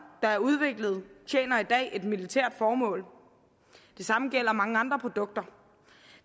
tjener i dag et militært formål det samme gælder mange andre produkter